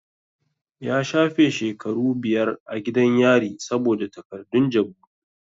Ya shafe shekaru biyar a gidan yari saboda takardun jabu.